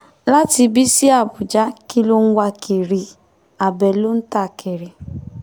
láti ibí sí àbújá kí ló ń wá kiri abẹ ló ń ta kiri